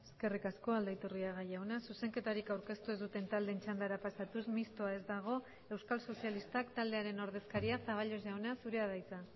eskerrik asko aldaiturriaga jauna zuzenketarik aurkeztu ez duten taldeen txandara pasatuz mistoa ez dago euskal sozialistak taldearen ordezkaria zaballos jauna zurea da hitza